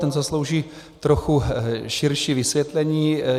Ten zaslouží trochu širší vysvětlení.